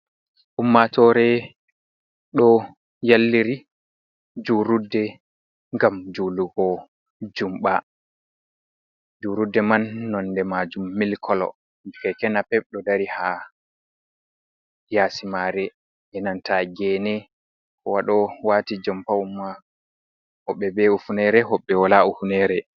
Ummatore ɗo yalliri julurde ngam julugo jumba. julurude man nonde majum milkalo bi keke napep ɗo dari ha yasi mare e nanta gene. Kowa ɗo wati jompa woɓɓe be hifinere woɓɓe bo wala hifinere.